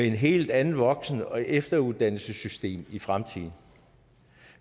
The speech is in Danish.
helt andet voksen og efteruddannelsessystem i fremtiden